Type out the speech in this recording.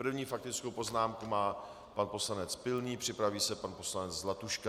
První faktickou poznámku má pan poslanec Pilný, připraví se pan poslanec Zlatuška.